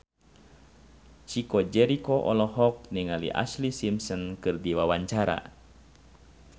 Chico Jericho olohok ningali Ashlee Simpson keur diwawancara